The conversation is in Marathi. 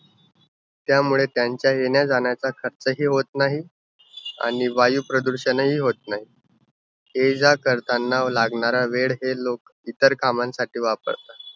त्यामुळे त्यांच्या येण्या-जाण्याचा खर्च हि होत नाही, आणि वायुप्रदूषण हि होत नाही. ये-जा करतांना लागणारा वेळ हे लोक इतर कामांसाठी वापरतात.